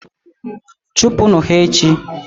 chụpụnụ ha echi!.